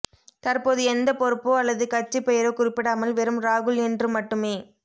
தற்போது எந்த பொறுப்போ அல்லது கட்சி பெயரோ குறிப்பிடாமல் வெறும் ராகுல் என்று மட்டுமே